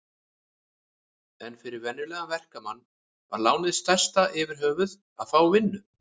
En fyrir venjulegan verkamann var lánið stærsta yfirhöfuð að fá vinnu.